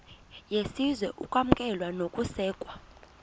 yesizwe ukwamkelwa nokusekwa